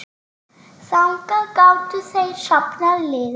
Þangað gátu þeir safnað liði.